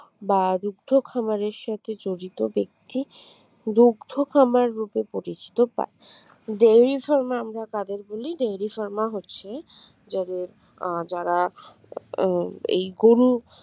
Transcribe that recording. বা দুগ্ধ খামারের সাথে যুক্ত জড়িত ব্যক্তি দুগ্ধ খামার রূপে পরিচিত পায় dairy pharma আমরা কাদের বলি dairy pharma হচ্ছে যাদের আহ যারা এই গরু